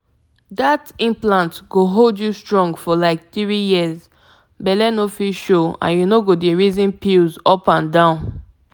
implant matter no be big wahala na just small fix dem go do and e go dey control belle things sharp pause.